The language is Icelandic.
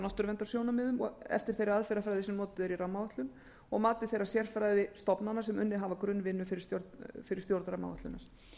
náttúruverndarsjónarmiðum eftir þeirri aðferðafræði sem notuð er í rammaáætlun og mati þeirra sérfræðistofnana sem unnið hafa grunnvinnu fyrir stjórn rammaáætlunar